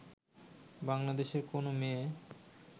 বাংলাদেশের কোনো মেয়ে